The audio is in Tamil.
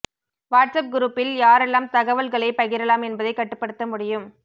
வாட்ஸ் அப் குரூப்பில் யாரெல்லாம் தகவல்களை பகிரலாம் என்பதை கட்டுப்படுத்த முடியும்